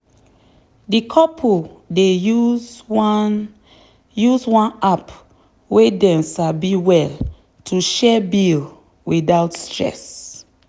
the couple dey use one use one app wey dem sabi well to share bill without stress.